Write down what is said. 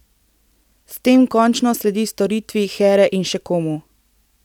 S tem končno sledi storitvi Here in še komu.